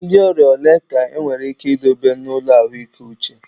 Ndị ọrịa ole ka enwere ike idobe n'ụlọ ahụike uche?